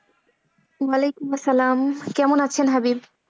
ওয়ালাইকুম আসসালাম। কেমন আছেন হাবিব?